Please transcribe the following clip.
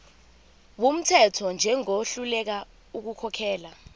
wumthetho njengohluleka ukukhokhela